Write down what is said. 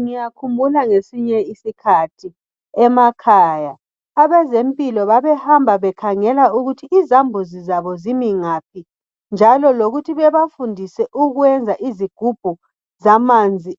Ngiyakhumbula ngesinye isikhathi emakhaya abezempilo babehamba bekhangela ukuthi izambuzi zabo zimi ngaphi njalo lokuthi bebafundise ukwenza izigubhu zamanzi